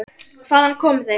Hvaðan komu þeir?